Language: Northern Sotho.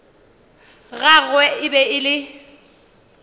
gagwe e be e le